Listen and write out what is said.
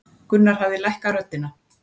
Gunnar hafði lækkað röddina.